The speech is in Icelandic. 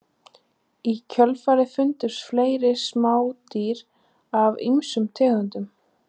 Í kjölfarið fundust fleiri smádýr af ýmsum tegundum.